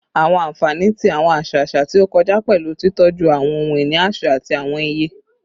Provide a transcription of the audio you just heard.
Awọn anfani ti awọn aṣa aṣa ti o kọja pẹlu titọju awọn ohun-ini aṣa ati awọn iye